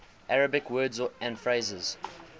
arabic words and phrases